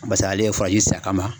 Basa ale ye sen a kama.